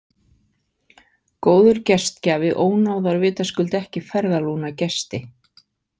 Góður gestgjafi ónáðar vitaskuld ekki ferðarlúna gesti.